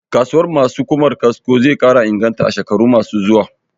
Kasuwar ma su Ƙumar kasko zai ƙara inganta a shekarun ma su zuwa